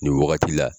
Nin wagati la